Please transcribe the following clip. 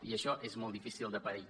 i això és molt difícil de pair